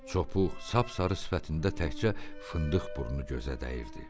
Çopuq, sap-sarı sifətində təkcə fındıq burnu gözə dəyirdi.